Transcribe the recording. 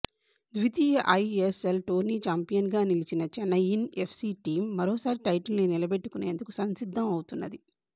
ద్వితీయ ISL tourney చాంపియన్గా నిలిచిన చెన్నయిన్ ఎఫ్సి టీమ్ మరోసారి టైటిల్ను నిలబెట్టుకొనేందుకు సంసిద్ధం అవుతున్నది